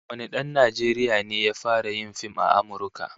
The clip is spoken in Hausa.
Shin wane dan Najeriya ne ya fara yin fim a Amurka?